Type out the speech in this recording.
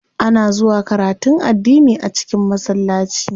Ana zuwa karatun addini a cikin masallaci.